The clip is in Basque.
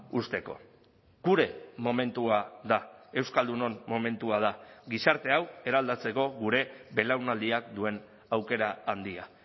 uzteko gure momentua da euskaldunon momentua da gizarte hau eraldatzeko gure belaunaldiak duen aukera handia